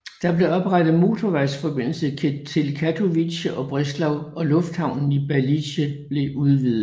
Der blev oprettet motorvejsforbindelser til Katowice og Breslau og lufthavnen i Balice blev udvidet